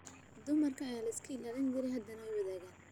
Dumarkii ayaa layska ilaalin jiray. Hadda way wadaagaan.